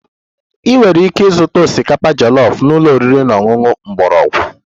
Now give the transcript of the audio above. Ị nwere ike ịzụta osikapa jollof na ụlọ oriri na ọṅụṅụ mgbọrọgwụ